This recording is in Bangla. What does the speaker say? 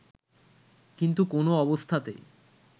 কিন্তু কোনও অবস্থাতেই